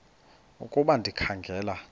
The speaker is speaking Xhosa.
ukuba ndikha ngela